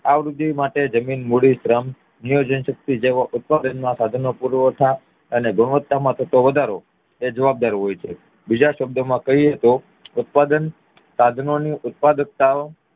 આ વૃદ્ધિ માટે જમીન મૂડી શ્રમ નિયોજન શક્તિ જેવા ઉત્પાદન ના સાધનો પુરવઠા અને ગુણવત્તા માં થતો વધારો જવાબદાર હોય છે બીજા શબ્દો માં કહીએ તો ઉત્પાદન સાધનોની ઉત્પાદકતા